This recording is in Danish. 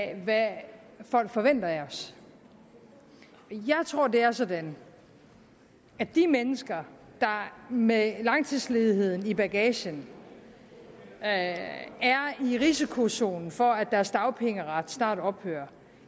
af hvad folk forventer af os jeg tror det er sådan at de mennesker der med langtidsledigheden i bagagen er i risikozonen for at deres dagpengeret snart ophører